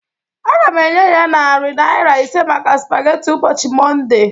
Aga m enye ya narị naira ise maka spaghetti ụbọchị Mọnde